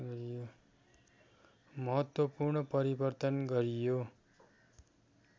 महत्त्वपूर्ण परिवर्तन गरियो